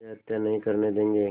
वह हत्या नहीं करने देंगे